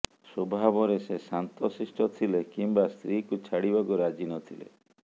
ସ୍ୱଭାବରେ ସେ ଶାନ୍ତ ଶିଷ୍ଟ ଥିଲେ କିମ୍ବା ସ୍ତ୍ରୀକୁ ଛାଡିବାକୁ ରାଜି ନଥିଲେ